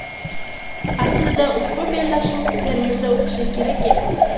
Aslida ushbu bellashuv Termizda o‘tishi kerak edi.